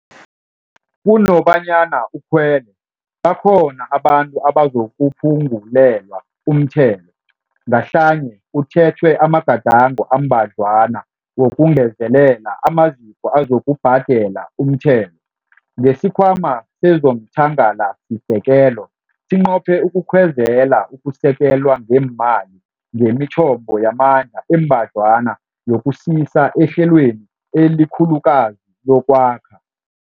Kunobanyana ukhwele, bakhona abantu abazakuphungulelwa umthelo, ngahlanye kuthethwe amagadango ambadlwana wokungezelela amaziko azakubhadela umthelo. NgesiKhwama sezomThangalasisekelo sinqophe ukukhwezelela ukusekelwa ngeemali ngemithombo yamandla embadlwana yokusisisa ehlelweni elikhulukazi lokwakha.